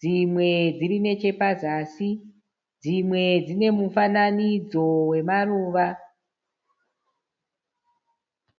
Dzimwe dziri nechepazasi. Dzimwe dzine mufananidzo wemaruva.